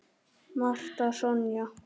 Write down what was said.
Marta Sonja.